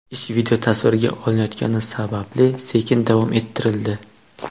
Ish videotasvirga olinayotgani sababli sekin davom ettirildi.